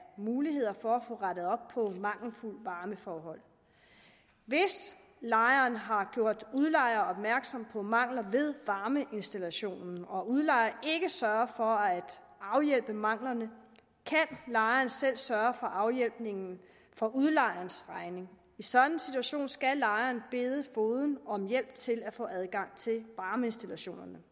muligheder for at få rettet op på mangelfulde varmeforhold hvis lejeren har gjort udlejer opmærksom på mangler ved varmeinstallationen og udlejer ikke sørger for at afhjælpe manglerne kan lejeren selv sørge for afhjælpning for udlejers regning i sådan en situation skal lejerne bede fogeden om hjælp til at få adgang til varmeinstallationerne